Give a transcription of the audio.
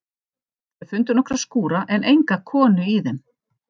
Þau fundu nokkra skúra en enga konu í þeim.